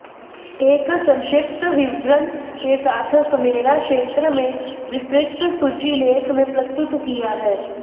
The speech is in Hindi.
एक संक्षिप्त विवरण के साथ समेरा क्षेत्र में विस्तृत सूची लेख में प्रस्तुत किया है